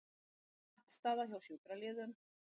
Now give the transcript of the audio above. Pattstaða hjá sjúkraliðum